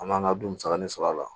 An man ka dun musaka min sɔrɔ a la